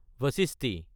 বাশিষ্টি